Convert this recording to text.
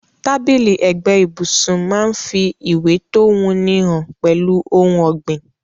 Tábìlì ẹ̀gbẹ́ ibùsun máa n fi ìwé to wuni han pẹ́lu oun ògbìn